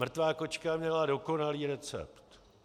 Mrtvá kočka měla dokonalý recept.